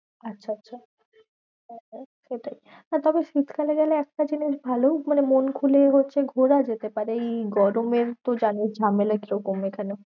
আচ্ছা আচ্ছা সেটাই, হ্যাঁ তবে শীতকালে গেলে একটা জিনিস ভালো মানে মন খুলে হচ্ছে ঘোরা যেতে পারে। এই গরমে তুই জানিস ঝামেলা কিরকম এখানে।